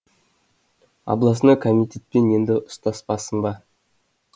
областной комитетпен енді ұстаспасын ба